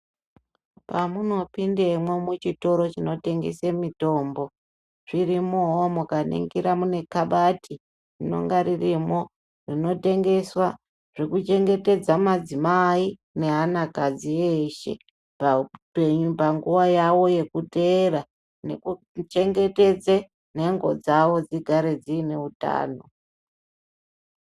Pamunopindemwo muchitoro chinotengese mitombo zvirimwowo mukaningira mune kabati rinonga ririmwo rinotengeswa zvekuchengetedza madzimai neanakadzi eshe paupenyu panguwa yawo yekuteera nekuchengetedza nhengo dzawo dzigare dziine utano.